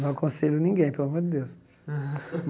Não aconselho ninguém, pelo amor de Deus.